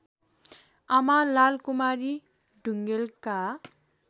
आमा लालकुमारी ढुङेलका